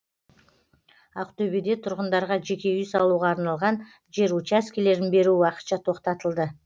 ақтөбеде тұрғындарға жеке үй салуға арналған жер учаскелерін беру уақытша тоқтатылды